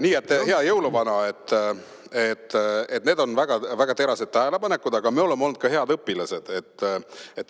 " Nii et, hea jõuluvana, need on väga terased tähelepanekud, aga me oleme olnud head õpilased.